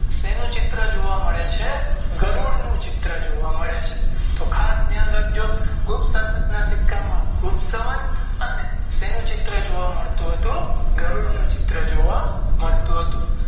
સેનું ચિત્ર જોવા મળે છે વરુડ નું જોવા મળે છે તો ઘાસ ધ્યાન રાખજો ગુપ્ત શાન ના સિક્કા માં ગુરસક અને સેનું ચિત્ર જોવા મળતું હતું ગરુડ નું ચિત્ર જોવા મળતું હતું.